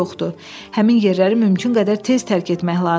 Həmin yerləri mümkün qədər tez tərk etmək lazımdır.